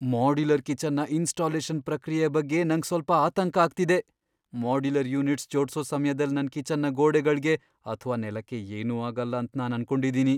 Modular ಕಿಚನ್ನ installation ಪ್ರಕ್ರಿಯೆಯ ಬಗ್ಗೆ ನಂಗ್ ಸ್ವಲ್ಪ ಆತಂಕ ಆಗ್ತಿದೆ. ಮಾಡ್ಯುಲರ್ ಯೂನಿಟ್ಸ್ ಜೋಡ್ಸೋ ಸಮ್ಯದಲ್ ನನ್ ಕಿಚನ್ನ ಗೋಡೆಗಳ್ಗೆ ಅಥ್ವಾ ನೆಲಕ್ಕೆ ಏನೂ ಆಗಲ್ಲ ಅಂತ್ ನಾನ್ ಅನ್ಕೊಂಡಿದ್ದೀನಿ.